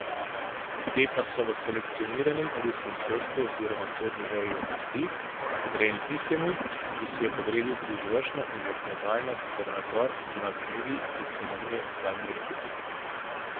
Te pa so v selekcioniranem ruskem sodstvu oziroma sodni veji oblasti, podrejeni tistemu, ki si je podredil tudi izvršno in zakonodajno ter nadzor nad mediji in se imenuje Vladimir Putin.